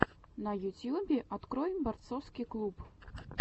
на ютьюбе открой борцовский клуб